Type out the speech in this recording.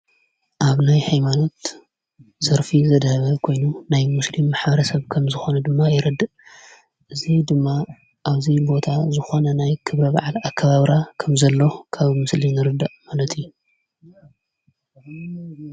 ኣብ ናይ ኃይማኖት ዘርፊ ዘድኅበ ኮይኑ ናይ ሙስልም ማሕበረሰብ ከም ዝኾነ ድማ ይረድ እዙ ድማ ኣብዙ ቦታ ዝኾነ ናይ ክብረ ባዓል ኣካባብራ ከም ዘለ ካብ ምስሊ ንርዳእ።